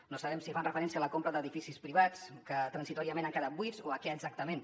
no sabem si fan referència a la compra d’edificis privats que transitòriament han quedat buits o a què exactament